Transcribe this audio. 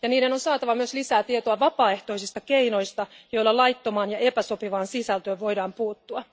Niiden on saatava myös lisää tietoa vapaaehtoisista keinoista, joilla laittomaan ja epäsopivaan sisältöön voidaan puuttua.